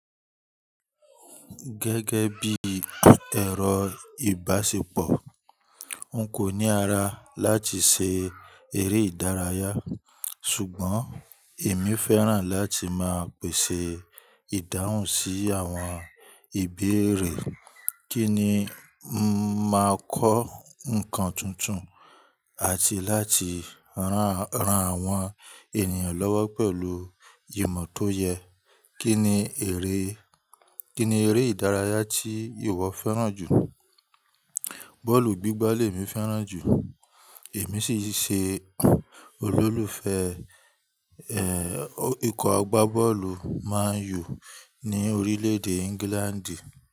Gẹ́gẹ́ bí ẹ̀rọ ìbásepọ̀, n kò ní ara láti ṣe eré ìdárayá ṣùgbọ́n èmi fẹ́ràn láti máa pèsè ìdáhùn sí àwọn ìbéèrè kíni máa kọ́ ǹkan tuntun àti láti rán àwọn ènìyàn lọ́wọ́ pẹ̀lú ìmọ̀ tó yẹ. Kíni ère ìdárayá tí ìwọ fẹ́ràn jù? Bọ́ọ̀lù gbígbá lé mi fẹ́ràn jù. Èmi sìn ṣe olólùfẹ́ ẹ ikó agbá bọ́ọ̀lù Man U ní orílẹ̀-èdè England.